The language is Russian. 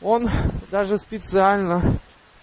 он даже специально